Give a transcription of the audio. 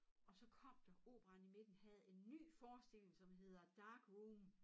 Og så kom der operaen i midten havde en ny forestilling som hedder dark room